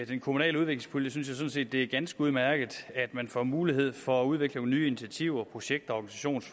den kommunale udviklingspulje synes jeg sådan set det er ganske udmærket at man får mulighed for at udvikle nogle nye initiativer projekter